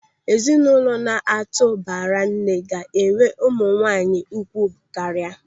Ezinụlọ na-atụ baranne ga-enwe ụmụ nwaanyị ugwu karịa.